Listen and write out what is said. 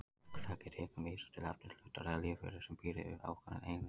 Hugtakið tegund vísar til efnis, hlutar eða lífveru sem býr yfir ákveðnum eiginleikum.